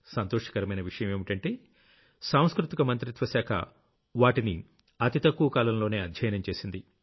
సంతోషకరమైన విషయం ఏంటంటే సాంస్కృతిక మంత్రిత్వ శాక వాటిని అతి తక్కువ కాలంలోనే అధ్యయనం చేసింది